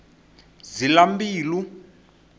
zilambilu